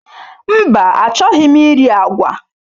Mba, achọghị m iri agwa.